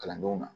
Kalandenw ma